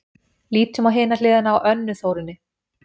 Lítum á hina hliðina á Önnu Þórunni: